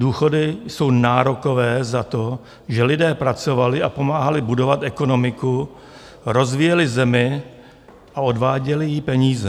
Důchody jsou nárokové za to, že lidé pracovali a pomáhali budovat ekonomiku, rozvíjeli zemi a odváděli jí peníze.